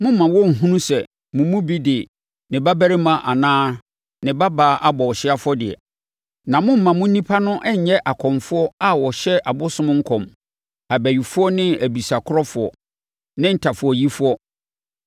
Mommma wɔnnhunu sɛ mo mu bi de ne babarima anaa ne babaa abɔ ɔhyeɛ afɔdeɛ. Na mommma mo nnipa no nnyɛ akɔmfoɔ a wɔhyɛ abosom nkɔm, abayifoɔ ne abisakorɔfoɔ, ne ntafowayifoɔ